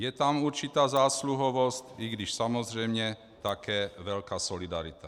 Je tam určitá zásluhovost, i když samozřejmě také velká solidarita.